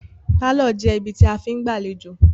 Pálọ̀ jẹ́ ibi tí a fí ń gbàléjọ̀